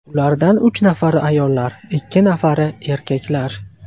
Ulardan uch nafari ayollar, ikki nafari erkaklar.